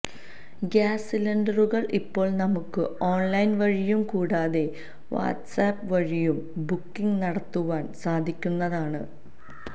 gas സിലിണ്ടറുകൾ ഇപ്പോൾ നമുക്ക് ഓൺലൈൻ വഴിയും കൂടാതെ വാട്ട്സ് ആപ്പ് വഴിയും ബുക്കിംഗ് നടത്തുവാൻ സാധിക്കുന്നതാണ്